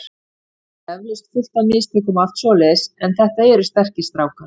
Ég geri eflaust fullt af mistökum og allt svoleiðis en þetta eru sterkir strákar.